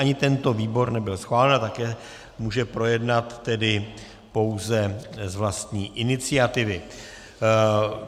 Ani tento výbor nebyl schválen a také může projednat tedy pouze z vlastní iniciativy.